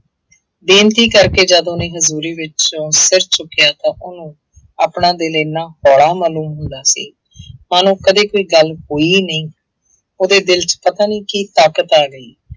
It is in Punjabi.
ਬੇਨਤੀ ਕਰਕੇ ਜਦ ਉਹਨੇ ਹਜ਼ੂਰੀ ਵਿੱਚੋਂ ਸਿਰ ਚੁੱਕਿਆ ਤਾਂ ਉਹਨੂੰ ਆਪਣਾ ਦਿਲ ਇੰਨਾ ਹੌਲਾ ਮਾਲੂਮ ਹੁੰਦਾ ਸੀ ਮਾਨੋ ਕਦੇ ਕੋਈ ਗੱਲ ਹੋਈ ਹੀ ਨਹੀਂ, ਉਹਦੇ ਦਿਲ ਚ ਪਤਾ ਨੀ ਕੀ ਤਾਕਤ ਆ ਗਈ,